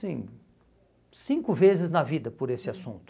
Sim, cinco vezes na vida por esse assunto.